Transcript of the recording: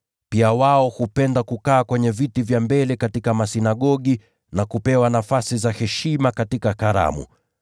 Pia wao hupenda kukaa kwenye viti vya mbele katika masinagogi, na kupewa nafasi za heshima katika karamu.